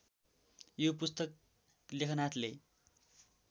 यो पुस्तक लेखनाथले